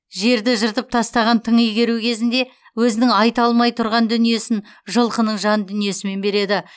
жерді жыртып тастаған тың игеру кезінде өзінің айта алмай тұрған дүниесін жылқының жан дүниесімен береді